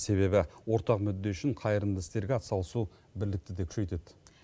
себебі ортақ мүдде үшін қайырымды істерге ат салысу бірлікті де күшейтеді